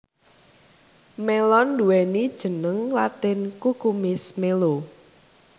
Mélon nduwéni jeneng latin Cucumis melo